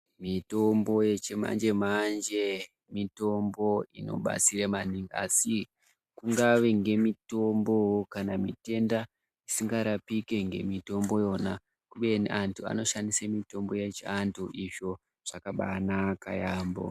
Mitombo yechimanje-manje mitombo inobatsire maningi asi kungave ngemitombo kana mitenda isingarapiki ngemitombo yona. Kubeni antu anoshandise mitombo yechiantu izvo zvakambaanaka yaambo.